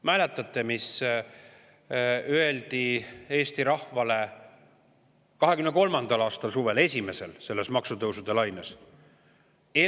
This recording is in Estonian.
Mäletate, mida öeldi Eesti rahvale 2023. aasta suvel, kui oli maksutõusude esimene laine?